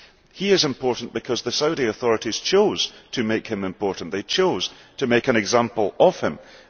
He is important because the Saudi authorities chose to make him important they chose to make an example of him.